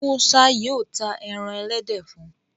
Musa yíò tá èràn elédè fún.